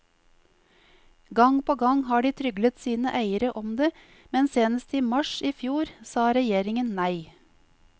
Gang på gang har de tryglet sine eiere om det, men senest i mars i fjor sa regjeringen nei.